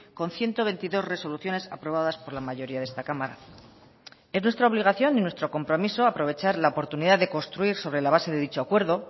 con ciento veintidós resoluciones aprobadas por la mayoría de esta cámara es nuestra obligación y nuestro compromiso aprovechar la oportunidad de construir sobre la base de dicho acuerdo